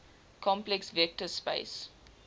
complex vector space